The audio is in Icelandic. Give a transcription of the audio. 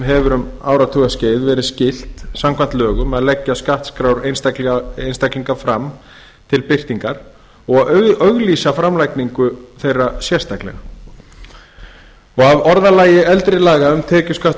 hefur um áratugaskeið verið skylt samkvæmt lögum að leggja skattskrár einstaklinga fram til birtingar og að auglýsa framlagningu þeirra sérstaklega af orðalagi eldri laga um tekjuskatt og